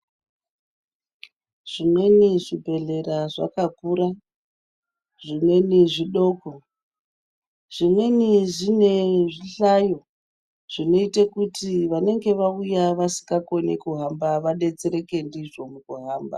Zvimweni zvibhedhlera zvakakura zvimweni zvidoko zvimweni zvine zvihlayo zvinoita kuti vanenge vauya vasingakoni kuhamba vadetsereke ndizvo mukuhamba.